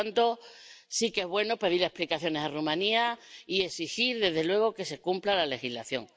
Por tanto, sí que es bueno pedir explicaciones a Rumanía y exigir, desde luego, que se cumpla la legislación.